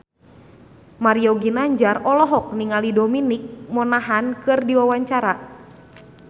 Mario Ginanjar olohok ningali Dominic Monaghan keur diwawancara